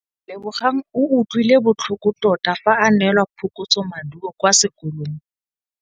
Lebogang o utlwile botlhoko tota fa a neelwa phokotsômaduô kwa sekolong.